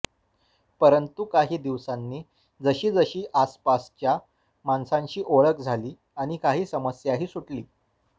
परंतु काही दिवसांनी जशी जशी आसपासच्या माणसांशी ओळख झाली आणि काही समस्याही सुटली